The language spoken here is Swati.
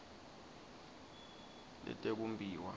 letekumbiwa